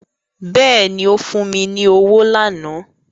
Bẹ́ẹ̀ni ó fún mi ní owó lánàá